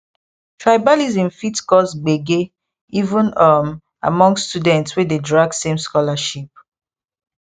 tribalism fit cause gbege even um among students wey dey drag same scholarship